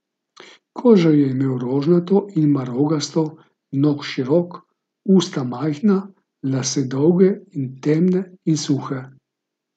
Kožo je imel rožnato in marogasto, nos širok, usta majhna, lase dolge in temne in suhe.